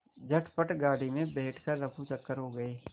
झटपट गाड़ी में बैठ कर ऱफूचक्कर हो गए